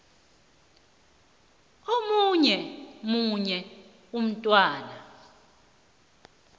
omunye nomunye umntwana